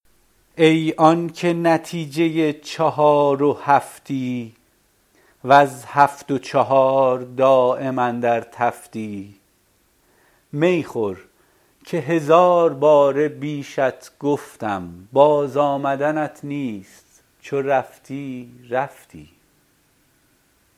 ای آنکه نتیجه چهار و هفتی وز هفت و چهار دایم اندر تفتی می خور که هزار باره بیشت گفتم باز آمدنت نیست چو رفتی رفتی